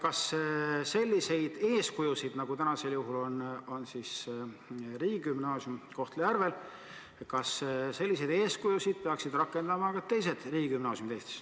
Kas sellistest eeskujudest, nagu seda on Kohtla-Järve riigigümnaasium, peaksid lähtuma ka teised Eesti riigigümnaasiumid?